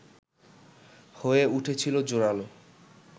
হয়ে উঠেছিল জোরালো